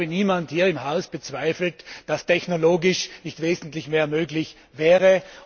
Ich glaube, niemand hier im Haus bezweifelt, dass technologisch wesentlich mehr möglich wäre.